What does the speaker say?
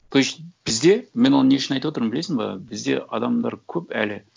то есть бізде мен оны не үшін айтып отырмын білесің ба бізде адамдар көп әлі